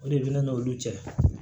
O de bɛ ne n'olu cɛ